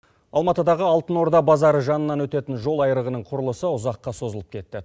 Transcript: алматыдағы алтын орда базары жанынан өтетін жол айрығының құрылысы ұзаққа созылып кетті